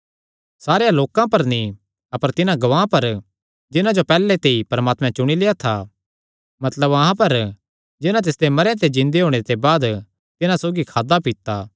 सारेयां लोकां पर नीं अपर तिन्हां गवाहां पर जिन्हां जो परमात्मैं पैहल्ले ते ई चुणी लेआ था मतलब अहां पर जिन्हां तिसदे मरेयां ते जिन्दे होणे ते बाद तिन्हां सौगी खादा पीता